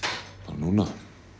núna